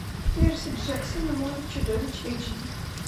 перси джексон и море чудовищ эйч ди